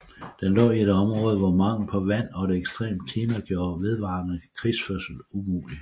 Den lå i et område hvor mangel på vand og et ekstremt klima gjorde vedvarende krigsførsel umulig